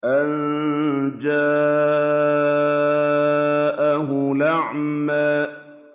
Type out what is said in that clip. أَن جَاءَهُ الْأَعْمَىٰ